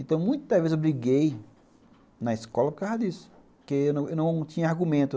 Então, muitas vezes eu briguei na escola por causa disso, porque eu não tinha argumento.